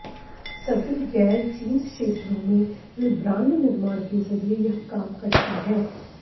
सभी गैर जिंस क्षेत्रों में वे ब्रांड निर्माण के जरिये यह काम करती हैं